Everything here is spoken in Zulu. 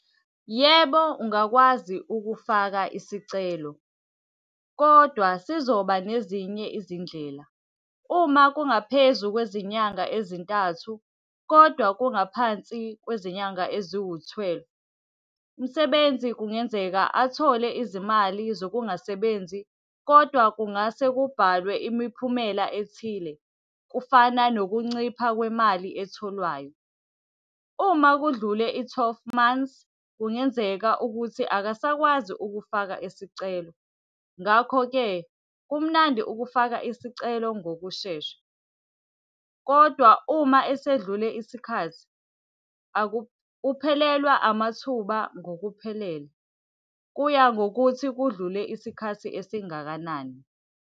Yebo, ungakwazi ukufaka isicelo, kodwa sizoba nezinye izindlela. Uma kungaphezu kwezinyanga ezintathu, kodwa kungaphansi kwezinyanga eziwu-twelve, umsebenzi kungenzeka athole izimali zokungasebenzi, kodwa kungase kubhalwe imiphumela ethile, kufana nokuncipha kwemali etholwayo. Uma kudlule i-twelve months, kungenzeka ukuthi akasakwazi ukufaka isicelo, ngakho-ke kumnandi ukufaka isicelo ngokushesha. Kodwa uma esedlule isikhathi, uphelelwa amathuba ngokuphelele. Kuya ngokuthi kudlule isikhathi esingakanani.